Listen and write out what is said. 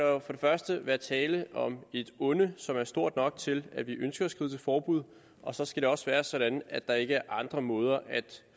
første være tale om et onde som er stort nok til at vi ønsker at skride forbud og så skal det også være sådan at der ikke er andre måder at